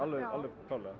klárlega